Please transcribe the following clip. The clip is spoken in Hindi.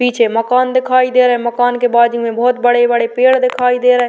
पीछे मकान दिखाई दे रहा है। मकान के बाजू में बोहोत बड़े-बड़े पेड़ दिखाई दे रहे --